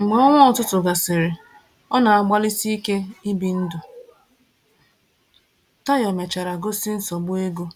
Mgbe ọnwa ọtụtụ gasịrị ọ na-agbalịsi ike ibi ndụ, Tayo mechara gosi nsogbu ego